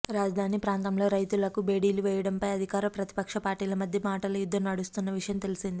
రాజధాని ప్రాంతంలో రైతులకు బేడీలు వేయడం పై అధికార ప్రతిపక్ష పార్టీల మధ్య మాటల యుద్ధం నడుస్తున్న విషయం తెలిసిందే